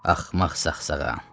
Axmaq saxsağan.